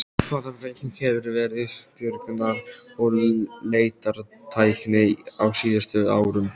Hvaða breyting hefur verið björgunar- og leitartækni á síðustu árum?